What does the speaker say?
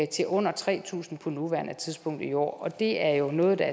til under tre tusind på nuværende tidspunkt i år og det er jo noget der